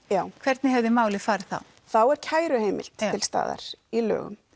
hvernig hefði málið farið þá þá er kæruheimild til staðar í lögum